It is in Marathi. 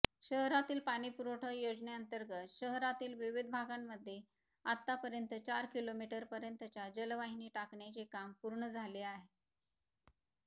शहरातील पाणीपुरवठा योजनेतंर्गत शहरातील विविध भागांमध्ये आतापर्यंत चार किलोमिटरपर्यंतच्या जलवाहिनी टाकण्याचे काम पूर्ण झाले आहे